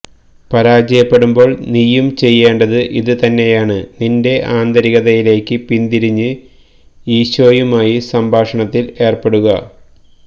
പരാജയപ്പെടുമ്പോൾ നീയും ചെയ്യേണ്ടത് ഇത് തന്നെയാണ് നിന്റെ ആന്തരികതയിലേയ്ക്ക് പിന്തിരിഞ്ഞ് ഈശോയുമായി സംഭാഷണത്തിൽ ഏർപ്പെടുക